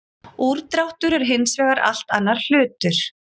Úrdráttur er hins vegar allt annar hlutur.